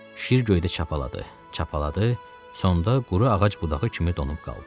Şir göydə çapaladı, çapaladı, sonda quru ağac budağı kimi donub qaldı.